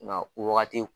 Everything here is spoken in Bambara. Nka o wagati